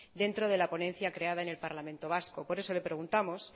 dentro de la ponencia creada en el parlamento vasco por eso le preguntamos